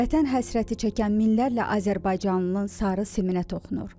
Vətən həsrəti çəkən minlərlə azərbaycanlının sarı siminə toxunur.